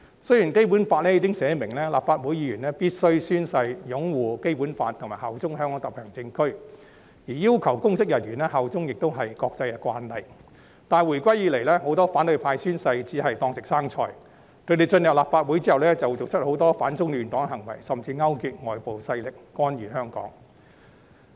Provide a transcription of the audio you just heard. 雖然《基本法》已訂明，立法會議員必須宣誓擁護《基本法》及效忠香港特別行政區，而要求公職人員效忠亦是國際慣例，但回歸以來，很多反對派宣誓似是"當食生菜"，他們進入立法會後做出很多反中亂港的行為，甚至勾結外部勢力干預香港事務。